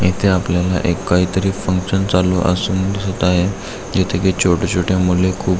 इथ आपल्याला एक काहि तरी फंक्शन चालू असून दिसत आहे जेथे की छोटी छोटी मूल खूप--